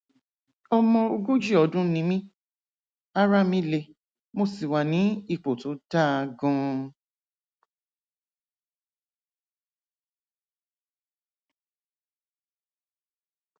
ọmọ ogójì ọdún ni mí ara mi le mo sì wà ní ipò tó dáa ganan